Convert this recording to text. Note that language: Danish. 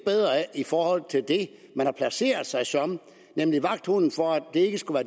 i forhold til det man har placeret sig som nemlig vagthunden for at det ikke skulle